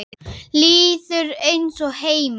Líður eins og heima.